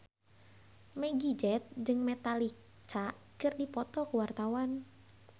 Meggie Z jeung Metallica keur dipoto ku wartawan